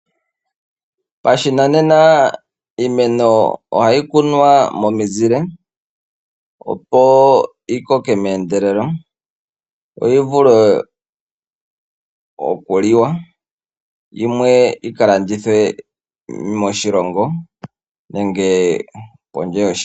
Pashinanena iimeno ohayi kunwa momizile, opo yi koke meendelelo yo yi vule okuliwa yimwe yi ka landithwe moshilongo nenge kondje yoshilongo.